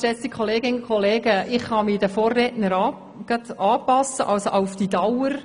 Ich kann mich den Vorrednern anschliessen.